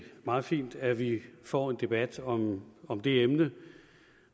meget fint at vi får en debat om om det emne